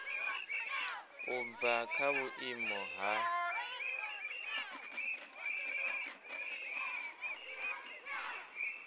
u bva kha vhuimo ha